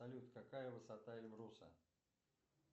салют какая высота эльбруса